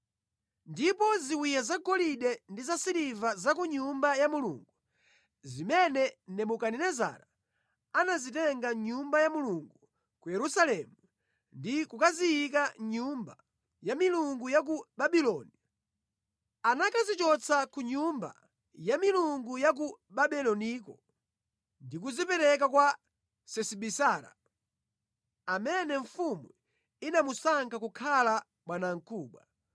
Ndipo ziwiya zagolide ndi zasiliva za ku Nyumba ya Mulungu zimene Nebukadinezara anazitenga mʼNyumba ya Mulungu ku Yerusalemu ndi kukaziyika mʼnyumba ya milungu ya ku Babuloni, anakazichotsa ku nyumba ya milungu ya ku Babuloniko ndi kuzipereka kwa Sesibazara, amene mfumu inamusankha kukhala bwanamkubwa.